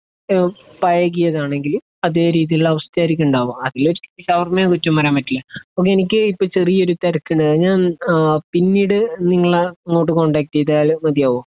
എഹ് പഴകിയതാണെകിൽ അതെ രീതിയിലുള്ള അവസ്ഥയായിരിക്കും ഉണ്ടാകുക. അതിലൊരിക്കലും ഷവർമ്മയെ കുറ്റം പറയാൻ പറ്റില്ല. എനിക്ക് ഇപ്പൊ ചെറിയൊരു തിരക്കുണ്ട്. ഞാൻ പിന്നീട് നിങ്ങളെ അങ്ങോട്ട് കോൺടാക്ട് ചെയ്താൽ മതിയാകുമോ?